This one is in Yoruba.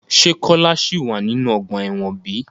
Se Kola si wa ninu ọgba ẹ́wọ̀n bi?